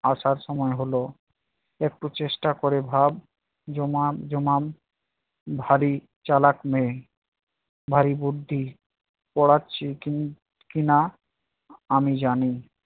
আসার সময় হলো একটু চেষ্টা করে ভাব, জমা জমাম ভারী চালাক মে। ভারী বুদ্ধি পাড়াচ্ছি কি~ কিনা আমি জানি